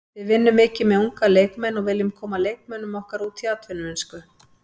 Við vinnum mikið með unga leikmenn og viljum koma leikmönnum okkar út í atvinnumennsku.